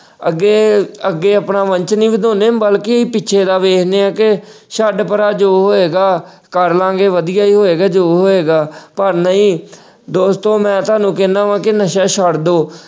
ਅੱਗੇ, ਅੱਗੇ ਆਪਣਾ ਵੰਸ਼ ਨਹੀਂ ਵਧਾਉਂਦੇ ਬਲਕਿ ਪਿੱਛੇ ਦਾ ਵੇਖਦੇ ਆ ਕਿ ਛੱਡ ਪਰ੍ਹਾਂ ਜੋ ਹੋਏਗਾ ਕਰ ਲਾ ਗੇ ਵਧੀਆ ਹੀ ਹੋਏਗਾ ਜੋ ਵੀ ਹੋਏਗਾ, ਪਰ ਨਹੀਂ ਦੋਸਤੋ ਮੈਂ ਤੁਹਾਨੂੰ ਕਹਿਣਾ ਵਾ ਕਿ ਨਸ਼ਾ ਛੱਡ ਦੋ।